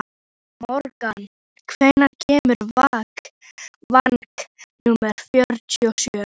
Morgan, hvenær kemur vagn númer fjörutíu og sjö?